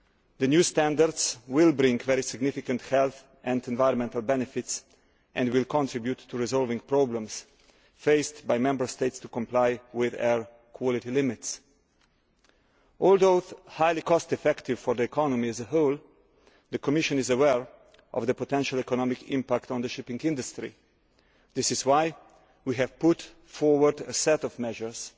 The new standards will bring very significant health and environmental benefits and will contribute to resolving problems faced by Member States in complying with air quality limits. Although they are highly cost effective for the economy as a whole, the Commission is aware of the potential economic impact on the shipping industry. That is why we have brought forward a set of measures